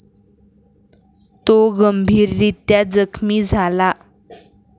तो गंभीररीत्या जखमी झाला.